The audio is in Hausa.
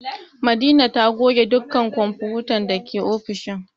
Madina na goge dukkan kwamfutan dake ofishin